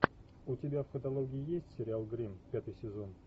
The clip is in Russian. у тебя в каталоге есть сериал гримм пятый сезон